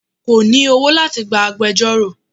Kò ní owó láti gba agbejọ́rò.